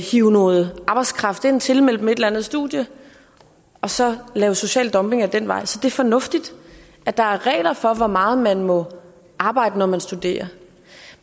hive noget arbejdskraft ind tilmelde det et eller andet studie og så lave social dumping ad den vej så det er fornuftigt at der er regler for hvor meget man må arbejde når man studerer